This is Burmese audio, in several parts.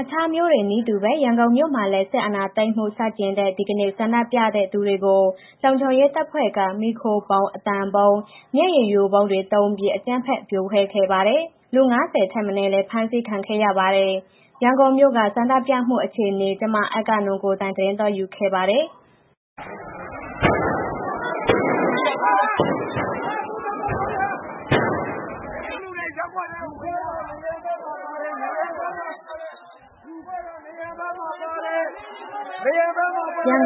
အခြားမြို့တွေနည်းတူပဲ ရန်ကုန်မြို့မှာလည်း စစ်အာာဏာသိမ်းမှုဆန့်ကျင်တဲ့ ဒီကနေ့ ဆန္ဒပြတဲ့သူတွေကို လုံခြုံရေးတပ်ဖွဲ့က မီးခိုးဗုံး၊ အသံဗုံး၊ မျက်ရည်ယိုဗုံးတွေသုံးပြီး အကြမ်းဖက် ဖြိုခွဲခဲ့ပါတယ်။ လူ ၅၀ ထက်မနည်းလည်း ဖမ်းဆီးခံခဲ့ရပါတယ်။ ရန်ကုန်မြို့က ဆန္ဒပြတွေနဲ့ အကြမ်းဖက်ဖြိုခွဲမှု အခြေအနေတွေကို ကိုယ်တိုင် မျက်မြင်တွေ့ခဲ့တဲ့ ဗွီအိုအေသတင်းထောက် အဂ္ဂနွန်က သတင်းပေးပို့ထားပါတယ်။ ရန်ကု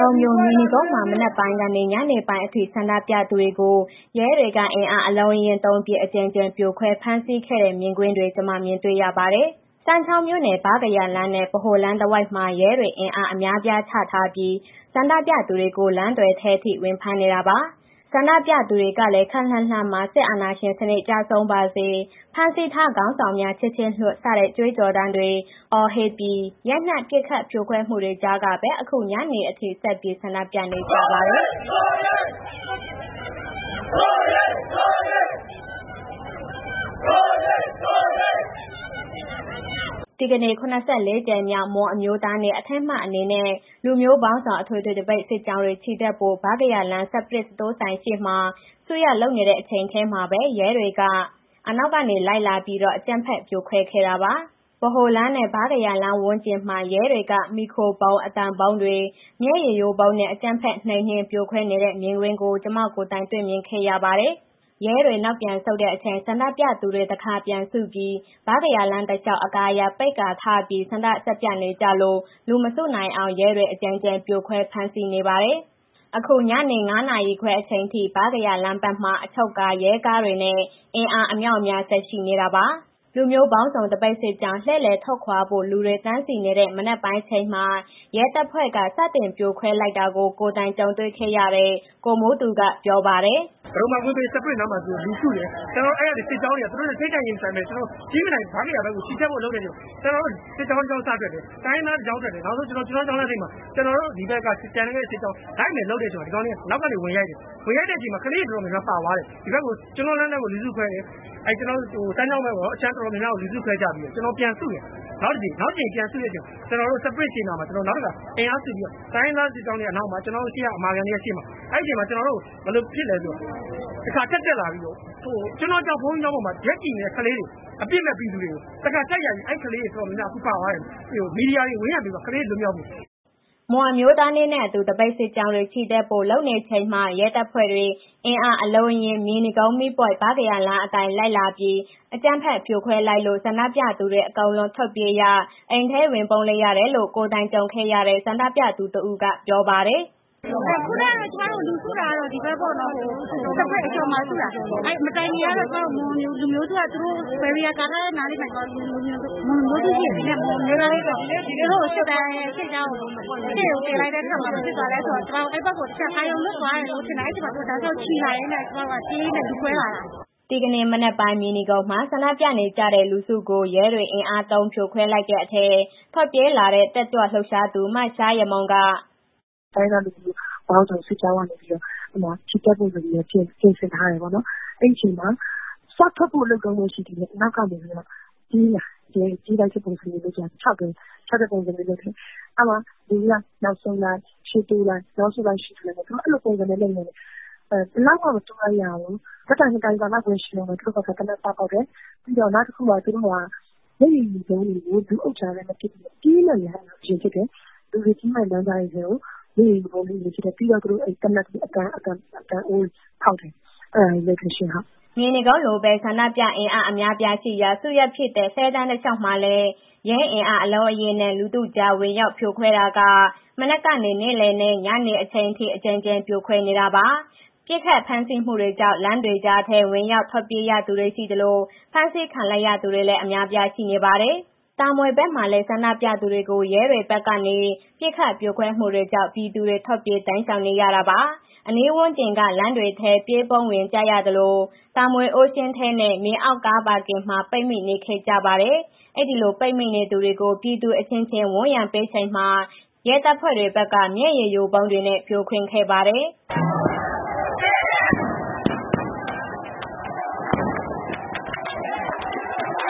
န်မြို့၊ မြေနီကုန်းမှာ မနက်ပိုင်းကနေ ညနေပိုင်းအထိ ဆန္ဒပြသူတွေကို ရဲတွေက အင်အားအလုံးအရင်းသုံးပြီး အကြိမ်ကြိမ်ဖြိုခွဲ ဖမ်းဆီးခဲ့တဲ့မြင်ကွင်းတွေ ကျမ မြင်တွေ့ခဲ့ရပါတယ်။ စမ်းချောင်းမြို့နယ်၊ ဗားကရာလမ်းနဲ့ ဗဟိုလမ်းတစ်ဝိုက်မှာ ရဲတွေ အင်အားအများအပြားချထားပြီး ဆန္ဒပြသူတွေကို လမ်းသွယ်ထဲထိ ဝင်ဖမ်းခဲ့တာပါ။ ဆန္ဒပြသူတွေကလည်း ခပ်လှမ်းလှမ်းမှာ စစ်အာဏာရှင်စနစ်ကျဆုံးပါစေ၊ ဖမ်းဆီးထားခေါင်းဆောင်များ ချက်ချင်းလွှတ် စတဲ့ ကြွေးကြော်သံတွေ အော်ဟစ်ပြီး ရိုက်နှက်ပစ်ခတ်ဖြိုခွဲမှုတွေကြားကပဲ ညနေပိုင်းအထိ ဆက်ပြီးဆန္ဒပြခဲ့ကြပါတယ်။ ဒီကနေ့ (၇၄) ကြိမ်မြောက် မွန်အမျိုးသားနေ့ အထိမ်းအမှတ်အနေနဲ့ လူမျိုးပေါင်းစုံ အထွေထွေသပိတ်စစ်ကြောင်းတွေ ချီတက်ဖို့ ဗားကရာလမ်း၊ စပရစ်စတိုးဆိုင်နားမှာ စုနေတဲ့အချိန်မှာပဲ ရဲတွေက အနောက်ကနေ လိုက်လာပြီးတော့ အကြမ်းဖက်ဖြိုခွဲခဲ့တာပါ။ ဗဟိုလမ်းနဲ့ ဗားကရာလမ်းဝန်းကျင်မှာ ရဲတွေက မီးခိုဗုံး၊ အသံဗုံးတွေ၊ မျက်ရည်ယိုဗုံးတွေနဲ့ အကြမ်းဖက် နှိမ်နင်း ဖြိုခွဲနေတဲ့မြင်ကွင်းကို ကျမကိုယ်တိုင် တွေ့မြင်ခဲ့ရပါတယ်။ ရဲတွေ နောက်ပြန်ဆုတ်တဲ့အချိန် ဆန္ဒပြသူတွေ တစ်ခါပြန်စုပြီး ဗားကရာလမ်း တလျှောက် အကာအရံပိတ်ကာထားပြီး ဆန္ဒဆက်ပြနေကြလို့ လူမစုနိုင်အောင် ရဲတွေ အကြိမ်ကြိမ် ဖြိုခွဲ ဖမ်းဆီးခဲ့ပါတယ်။ ညနေ ၅ နာရီခွဲအချိန်ထိ ဗားကရာလမ်းဘက်မှာ အချုပ်ကား ရဲကားတွေနဲ့ အင်အားအမြောက်အများ ဆက်ချထားခဲ့ပါတယ်။ လူမျိုးပေါင်းစုံ သပိတ်စစ်ကြောင်း လှည့်လည်ထွက်ခွာဖို့ လူတွေတန်းစီနေတဲ့ မနက်ပိုင်းအချိန်မှာ ရဲတပ်ဖွဲ့က စတင်ဖြိုခွဲလိုက်တာကို ကိုယ်တိုင်ကြုံတွေ့ခဲ့ရတဲ့ ကိုမိုးသူက ပြောပါတယ်။ “ပဒုမ္မာကွင်းဘေး စပရစ်နားမှာ လူစုတယ်၊ ကျနော်တို့က အဲ့ကနေ စစ်ကြောင်းက သူတို့နဲ့ ထိပ်တိုက်ရင်မဆိုင်ဖို့ ကြည်မြင်တိုင် ဗားကရာဘက်မှာ ချီတက်ဖို့လုပ်နေတဲ့အချိန်မှာ ကျနော်တို့ စစ်ကြောင်းတစ်ကြောင်း စ ထွက်တယ်၊ တိုင်းရင်းသားတစ်ကြောင်းထွက်တယ်၊ ကျွန်းတောလမ်းထိပ်မှာ ကျနော်တို့ ဒီဘက်က ကျန်တဲ့ စစ်ကြောင်း လိုက်မယ်လုပ်နေတဲ့ ချိန်မှာ ဒီကောင်တွေ အနောက်ကနေ ဝင်ရိုက်တယ်၊ ဝင်ရိုက်တဲ့အချိန်မှာ ကလေးတွေ တော်တော်များများပါသွားတယ်၊ ကျွန်းတောလမ်းဘက်မှာ လူစုခွဲတယ် စမ်းချောင်းဘက် အခြမ်းတော်တော်များများကို လူစုခွဲကြပြီးတော့ ကျနော်တို့ ပြန်စုတယ်၊ နောက်တစ်ကြိမ် ပြန်စုတဲ့အချိန် စပရစ်ရှေ့နားမှာ ကျနော်တို့ နောက်တစ်ခါ အင်အားစုပြီးတော့ တိုင်းရင်းသားစစ်ကြောင်းတွေက အနောက်မှာ ကျနော်တို့အမာခံတွေက ရှေ့မှာ အဲ့ချိန် ကျနော်တို့ ဘယ်လိုဖြစ်လဲဆိုတော့ တစ်ခါထပ်တက်လာပြီးတော့ ကျွန်းတောကျောင်း ဘုန်းကြီးကျောင်းပေါ်မှာ ရပ်ကြည့်နေတဲ့ ကလေးတွေ အပြစ်မဲ့ ပြည်သူတွေကို တစ်ခါထပ်ရိုက်ပြီး အဲ့ကလေးတော်တော်များများ အခုပါသွားပြီ၊ မီဒီယာတွေ ဝန်ရံပေးပါ ကလေးတွေလွတ်မြောက်ဖို့။” မွန်အမျိုးသားနေ့အတွက် သပိတ်စစ်ကြောင်းတွေ ချီတက်ဖို့ လုပ်နေချိန်မှာ ရဲတပ်ဖွဲ့တွေ အင်အားအလုံးအရင်းနဲ့ မြေနီကုန်းမီပွိုင့် ဗားကရာလမ်းအတိုင်း လိုက်လာပြီး အကြမ်းဖက်ဖြိုခွဲလိုက်လို့ ဆန္ဒပြသူတွေ အကုန်လုံးထွက်ပြေးရ၊ အိမ်ထဲဝင်ပုန်းလိုက်ရတယ်လို့ ကိုယ်တိုင်ကြုံခဲ့ရတဲ့ ဆန္ဒပြသူတစ်ဦးက ပြောပါတယ်။ “ခုနက ကျမတို့ လူစုတာတော့ ဒီဘက်ပေါ့နော် စပရစ်အကျော်မှာ စုတာ၊ မတိုင်မီကတော့ မွန်လူမျိုးစုက barrier ကာထားတဲ့နားလေးမှာရှိတယ်၊ ဒီနေ့ မွန်အမျိုးသားနေ့အတွက် သူတို့ကို စစ်ကြောင်းအရှေ့ကို တင်လိုက်တဲ့အခါမှာ ဘာဖြစ်သွားလဲဆိုတော့ ကျမတို့ အဲဒီဘက်ကို တချက်အာရုံလွတ်သွားတယ်လို့ထင်တာ၊ အဲဒီအချိန်မှာ သူတို့တောက်လျှောက်ချီလာရင်းနဲ့ ကျမတို့က ပြေးရင်းနဲ့လူကွဲလာတာ။” ဒီကနေ့မနက်ပိုင်း မြေနီကုန်းမှာ ဆန္ဒပြနေကြတဲ့လူစုကို ရဲတွေ အင်အားသုံးဖြိုခွင်းတဲ့အချိန် ထွက်ပြေးရတဲ့ တက်ကြွလှုပ်ရှားသူ မရှားယမုံက - "တိုင်းရင်းသားလူမျိုးပေါင်းစုံ စစ်ကြောင်းကနေပြီးတော့ ချီတက်ဖို့ဆိုပြီးတော့ ပြင်ဆင်ထားတယ်ပေါ့နော်။ အဲဒီအချိန်မှာ စထွက်ဖို့လုပ်တုန်းပဲ ရှိသေးတယ်၊ အနောက်ကနေ ရဲတွေက ပြေးလိုက်တဲ့ပုံစံနဲ့ ခြောက်တယ်။ အဲဒီမှာ လူတွေက နောက်ဆုတ်လိုက် ရှေ့တိုးလိုက်၊ နောက်ဆုတ်လိုက် ရှေ့တိုးလိုက်နဲ့ သူတို့က အဲလိုပုံစံနဲ့ လုပ်နေတယ်၊ ဘယ်လောက်မှ မတိုးလိုက်ရဘူး၊ ဓာတ်တိုင်နှစ်တိုင်စာလောက်ပဲ ရှိဦးမယ် သူတို့ဘက်က သေနတ်စဖောက်တယ်။ ပြီးတော့ နောက်တခုက သူတို့က မျက်ရည်ယို ဗုံးတွေကို လူအုပ်ကြားထဲမပစ်ဘူး။ လူတွေပြေးဝင်မယ့် လမ်းကြားတွေထဲကို မျက်ရည်ယို ဗုံးတွေကို ပစ်တယ်။ ပြီးတော့ သူတို့ သေနတ်ပေါ့ အသံအိုးတွေဖောက်တယ်။" မြေနီကုန်းလိုပဲ ဆန္ဒပြသူအင်အားအများအပြား စုရပ်ဖြစ်တဲ့ လှည်းတန်းတလျှောက်မှာ လည်း ရဲအင်အားအလုံးအရင်းနဲ့ လူထုကြား ဝင်ရောက်ဖြိုခွဲတာက မနက်ကနေ နေ့လည်နဲ့ ညနေအချိန်အထိ အကြိမ်ကြိမ်ဖြိုခွဲခဲ့တာပါ။ ပစ်ခတ်ဖမ်းဆီးမှုတွေကြောင့် လမ်းကြားတွေထဲ ဝင်ရောက်ထွက်ပြေးရသူတွေရှိသလို ဖမ်းဆီးခံလိုက်ရသူတွေလည်း အများအပြားရှိပါတယ်။ တာမွေဘက်မှာလည်း ဆန္ဒပြသူတွေကို ရဲတွေဘက်ကနေ ပစ်ခတ်ဖြိုခွဲမှုတွေကြောင့် ပြည်သူတွေ ထွက်ပြေးတိမ်းရှောင်နေရတာပါ။ အနီးဝန်းကျင်က လမ်းတွေထဲ ပြေးဝင် ပုန်းကြရသလို တာမွေ Ocean ထဲနဲ့ မြေအောက်ကားပါကင်မှာ ပိတ်မိနေခဲ့ကြပါတယ်။ အဲဒီလို ပိတ်မိနေသူတွေကို ပြည်သူအချင်းချင်းဝန်းရံပေးနေချိန်မှာ ရဲတပ်ဖွဲ့ဘက်က မျက်ရည်ယိုဗုံးတွေနဲ့ ဖြိုခွင်းခဲ့ပါတယ်။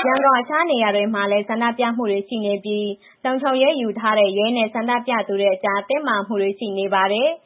ရန်ကုန် အခြားနေရာတွေမှာလည်း ဆန္ဒပြမှုတွေရှိခဲ့ပြီး ရဲနဲ့ ဆန္ဒပြသူတွေအကြား တင်းမာမှုတွေရှိခဲ့ပါတယ်။